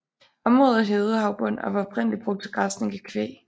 Området er hævet havbund og var oprindeligt brugt til græsning af kvæg